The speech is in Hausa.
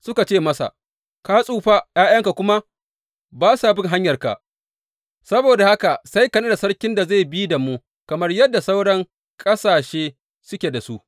Suka ce masa, Ka tsufa, ’ya’yanka kuma ba sa bin hanyarka, saboda haka sai ka naɗa sarkin da zai bi da mu kamar yadda sauran ƙasashe suke da su.